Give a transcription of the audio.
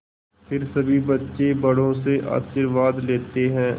फिर सभी बच्चे बड़ों से आशीर्वाद लेते हैं